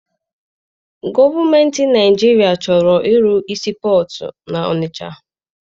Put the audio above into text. Gọọmentị Naịjirịa chọrọ ịrụ sii pọtụ n'Ọnịcha.